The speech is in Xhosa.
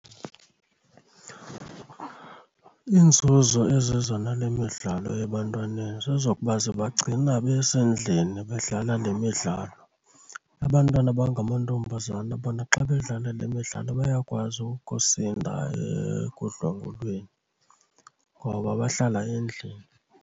Inzuzo eziza nale midlalo ebantwaneni zezokuba zibagcina besendlini bedlala lemidlalo. Abantwana abangamantombazana bona xa bedlala le midlalo bayakwazi ukusindisa ekudlwengulweni ngoba bahlala endlini.